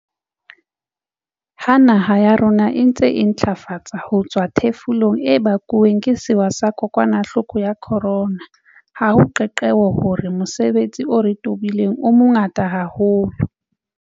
Ha naha ya rona e ntse e intlafatsa ho tswa ho thefulong e bakuweng ke sewa sa kokwanahloko ya corona, ha o qeaqeo hore mosebetsi o re o tobileng o mongata haholo.